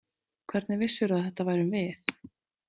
Hvernig vissirðu að þetta værum við?